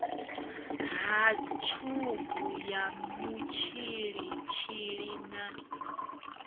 ha tshubu ya mutshilitshili na